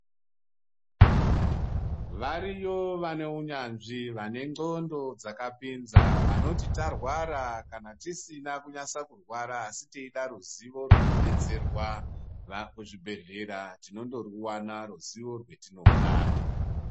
Variyo vane unyanzvi vane ndxondo dzakapinza vanoti tarwara kana tisina kunatsa kurwara asi tichida ruzivo rwekubetserwa kuzvibhedhlera tinongoriwana ruzivo rwetinoda.